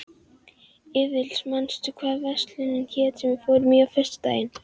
Aðils, manstu hvað verslunin hét sem við fórum í á föstudaginn?